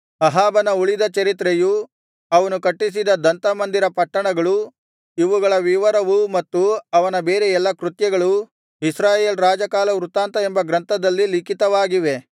ಅಹಾಬನ ಉಳಿದ ಚರಿತ್ರೆಯೂ ಅವನು ಕಟ್ಟಿಸಿದ ದಂತ ಮಂದಿರ ಪಟ್ಟಣಗಳು ಇವುಗಳ ವಿವರವೂ ಮತ್ತು ಅವನ ಬೇರೆ ಎಲ್ಲಾ ಕೃತ್ಯಗಳೂ ಇಸ್ರಾಯೇಲ್ ರಾಜಕಾಲವೃತ್ತಾಂತ ಎಂಬ ಗ್ರಂಥದಲ್ಲಿ ಲಿಖಿತವಾಗಿದೆ